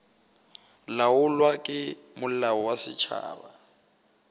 laolwa ke molao wa setšhaba